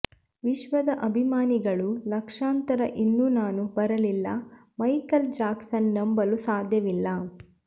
ವಿಶ್ವದ ಅಭಿಮಾನಿಗಳು ಲಕ್ಷಾಂತರ ಇನ್ನೂ ನಾನು ಬರಲಿಲ್ಲ ಮೈಕೆಲ್ ಜಾಕ್ಸನ್ ನಂಬಲು ಸಾಧ್ಯವಿಲ್ಲ